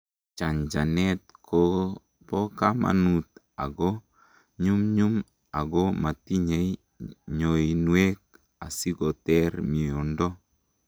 chanchanet kobokamanut ako nyumnyum ako matinyei ngoinwek asikoter miondo